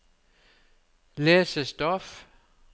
lesestoff